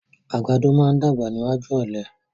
Àgbàdo máa ń dàgbà níwájú ọ̀lẹ.